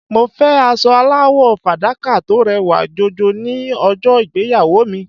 Mo fẹ́ aṣọ aláwọ̀ fàdákà tó rẹwà jọjọ ní ọjọ́ ìgbéyàwó mi.